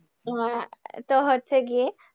আহ তো হচ্ছে গিয়ে,